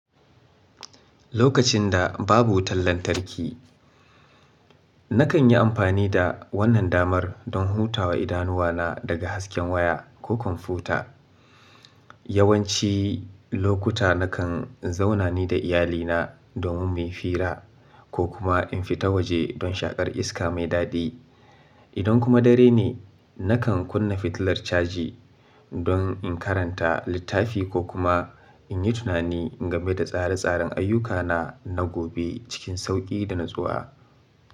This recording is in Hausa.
Lokacin da babu wutan lantarki, nakan yi amfani da wannan damar dan hutawa idanuwana daga hasken waya ko kwamfuta. Yawanci lokuta nakan zauna ni da iyalina domin muyi fira, ko kuma in fita waje dan shaƙar iska mai daɗi. Idan kuma dare ne, nakan kunna fitilar caji dan in karanta littafi ko kuma in yi tunani game da tsare-tsaren ayyukana na gobe cikin sauƙi da natsuwa.